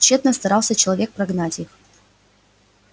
тщетно старался человек прогнать их